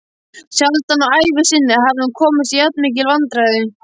Sjaldan á ævi sinni hafði hún komist í jafnmikil vandræði.